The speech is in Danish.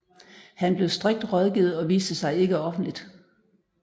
Han blev strikt rådgivet og viste sig ikke offentligt